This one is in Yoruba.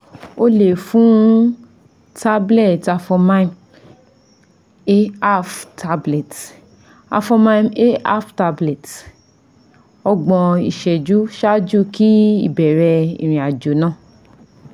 O le fun tablet Avomime Â one / two tablet Avomime Â one / two tablet ọgbọn iṣẹju ṣaaju ki ibẹrẹ irin-ajo naa